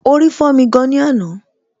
Orí fọ́mi gan ni àná